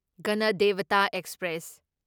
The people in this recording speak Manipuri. ꯒꯅꯗꯦꯚꯇꯥ ꯑꯦꯛꯁꯄ꯭ꯔꯦꯁ